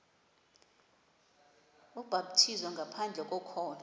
ubhaptizo ngaphandle kokholo